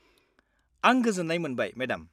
-आं गोजोन्नाय मोनबाय, मेडाम।